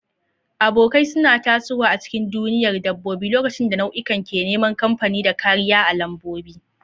Abokai suna tasowa a cikin duniyar dabbobi lokacin da nau'ikan ke neman kamfani da kariya a lambobi.